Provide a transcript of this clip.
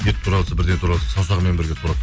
ет тураватса бірден тураватса саусағымен бірге турап